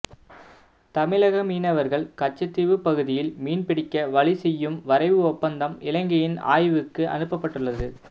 தமிழக மீனவர்கள் கச்சத்தீவுப் பகுதியில் மீன் பிடிக்க வழிசெய்யும் வரைவு ஒப்பந்தம் இலங்கையின் ஆய்வுக்கு அனுப்பப்பட்டுள்ளது